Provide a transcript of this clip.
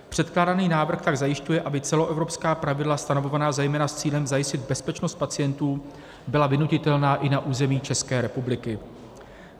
Předkládaný návrh tak zajišťuje, aby celoevropská pravidla stanovovaná zejména s cílem zajistit bezpečnost pacientů byla vynutitelná i na území České republiky.